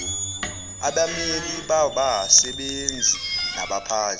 abameli babasebenzi nabaphathi